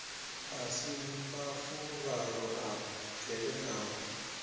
a si mafuvhalo o bvelelaho